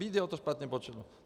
BDO to špatně spočítalo.